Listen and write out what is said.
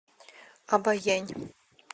обоянь